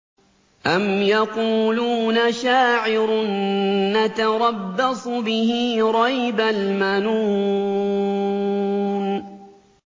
أَمْ يَقُولُونَ شَاعِرٌ نَّتَرَبَّصُ بِهِ رَيْبَ الْمَنُونِ